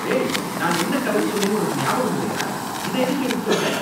ஏய், நான் என்ன கலர் சொன்னேன்னு உனக்கு ஞாபகம் இல்லையா? இத எதுக்கு எடுத்துட்டு வந்த?